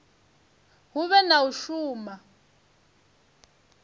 hu vhe na u shuma